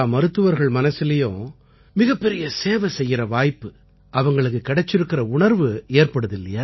எல்லா மருத்துவர்கள் மனசிலயும் மிகப்பெரிய சேவை செய்யற வாய்ப்பு அவங்களுக்குக் கிடைச்சிருக்கற உணர்வு ஏற்படுதில்லையா